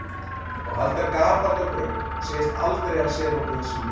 Og halda gapandi á braut og segjast aldrei hafa séð nokkuð þessu líkt.